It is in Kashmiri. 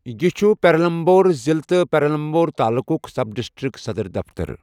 یہِ چھُ پیرمبلور ضِلعہ تہٕ پیرمبلور تعلقُک سب ڈسٹرکٹ صدٕر دفتَر